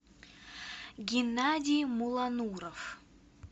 геннадий мулануров